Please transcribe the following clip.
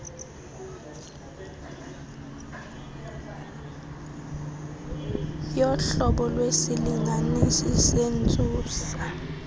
yohlobo lwesilinganisi sentsusa